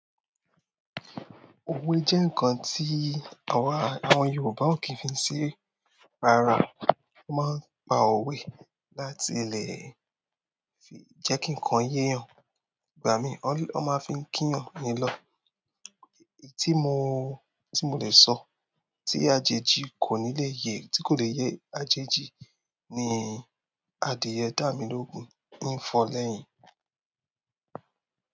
Òwe jẹ́ nǹkan tí àwa àwọn Yorùbá ó kí ń fi ṣeré. Rárá, wọ́n máa ń pa òwe láti lè jẹ́ kí nǹkan yé'yàn. Ìgbà míì, wọ́n máa fi ń kí'yan ni lọ́. Tí mo, tí mo dẹ̀ sọ, tí àjèjì kò ní lè yé, tí kò dẹ̀ yé àjèjì ni, "Adìyẹ dà mí lóògùn nù, hín fọ lẹ́yìn."